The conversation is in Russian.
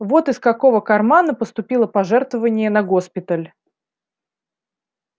вот из какого кармана поступило пожертвование на госпиталь